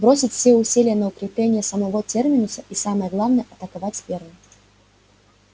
бросить все усилия на укрепление самого терминуса и самое главное атаковать первым